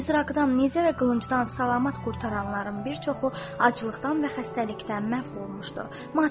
Mizraqdan, nizə və qılıncdan salamat qurtaranların bir çoxu aclıqdan və xəstəlikdən məhv olmuşdu.